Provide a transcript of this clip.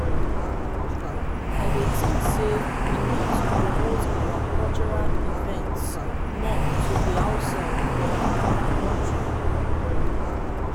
i dey think say we need to promote our cultural events more to di outside um di country.